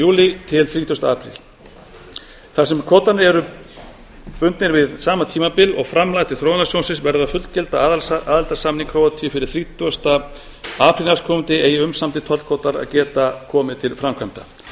júlí til þrítugasta apríl þar sem kvótarnir eru bundnir við sama tímabil og framlag til þróunarsjóðsins verður að fullgilda aðildarsamning króatíu fyrir þrítugasta apríl næstkomandi eigi umsamdir tollkvótar að geta komið til framkvæmda ég legg